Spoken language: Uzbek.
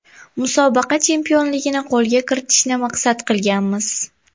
Musobaqa chempionligini qo‘lga kiritishni maqsad qilganmiz.